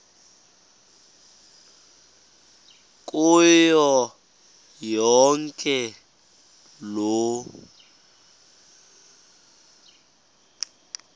kuyo yonke loo